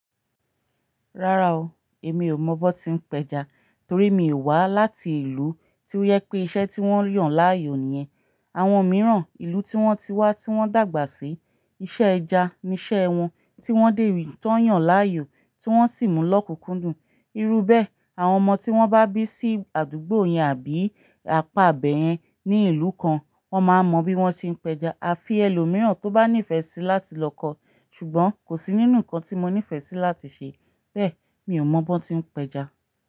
Rárá o, èmi ò mọ bọ́n tí ń pẹja torí mi ò wá láti ìlú tí ó yẹ pé iṣẹ́ tí wọ́n yàn láàyò nìyẹn. Àwọn mìíràn, ìlú tí wọ́n ti wá tí wọ́n dàgbà sí, iṣẹ́ ẹja ni iṣẹ́ wọn tí wọ́n dèrí tán yàn láàyò tí wọ́n sì mú lọ kúkúndùn. Irú bẹ́ẹ̀, àwọn ọmọ tí wọ́n bá bí sí àdúgbò yẹn àbí apá ibẹ̀yẹn ní ìlú kan, wọ́n máa mọ bí wọ́n ti ń pẹja. A fi ẹlòmíràn tó bá nífẹ̀ẹ́ síi láti lọ kọ. Ṣùgbọ́n kò sí nínú nǹkan tí mo nífẹ̀ẹ́ síi láti ṣe. Bẹ́ẹ̀ mi ò mọ bọ́n tí ń pẹja.